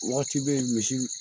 Waati bɛ yen misi